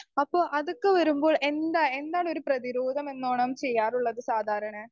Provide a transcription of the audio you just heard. speaker 2 അപ്പൊ അതൊക്കെ വരുമ്പോ എന്താ എന്താണ് ഒരു പ്രേതിരോധമെന്നാണ് ചെയ്യാറുള്ളത് സാധാരണ